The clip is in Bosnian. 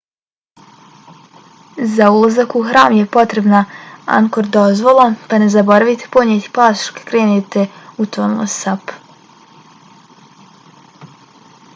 za ulazak u hram je potrebna angkor dozvola pa ne zaboravite ponijeti pasoš kad krenete u tonle sap